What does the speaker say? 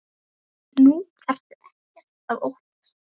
Nú þarftu ekkert að óttast.